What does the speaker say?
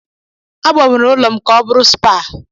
A gbanwere ụlọ m ka ọ bụrụ spaa.